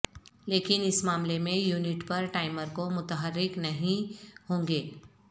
لیکن اس معاملے میں یونٹ پر ٹائمر کو متحرک نہیں ہوں گے